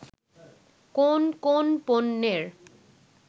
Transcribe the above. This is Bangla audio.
কোন কোন পণ্যের